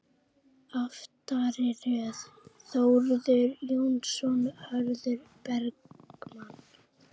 Aftari röð: Þórður Jóhannsson, Hörður Bergmann